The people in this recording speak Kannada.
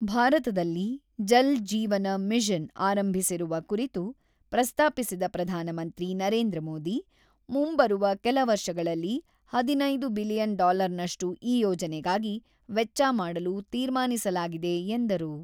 ಭಾರತದಲ್ಲಿ ಜಲ್-ಜೀವನ ಮಿಷನ್ ಆರಂಭಿಸಿರುವ ಕುರಿತು ಪ್ರಸ್ತಾಪಿಸಿದ ಪ್ರಧಾನಮಂತ್ರಿ ನರೇಂದ್ರ ಮೋದಿ, ಮುಂಬರುವ ಕೆಲ ವರ್ಷಗಳಲ್ಲಿ ಹದಿನೈದು ಬಿಲಿಯನ್ ಡಾಲರ್‌ನಷ್ಟು ಈ ಯೋಜನೆಗಾಗಿ ವೆಚ್ಚ ಮಾಡಲು ತೀರ್ಮಾನಿಸಲಾಗಿದೆ ಎಂದರು.